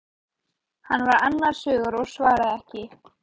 Hann var annars hugar og svaraði ekki.